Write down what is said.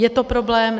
Je to problém.